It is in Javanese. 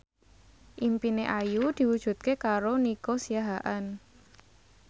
impine Ayu diwujudke karo Nico Siahaan